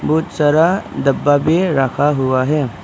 बहुत सारा डब्बा भी रखा हुआ है।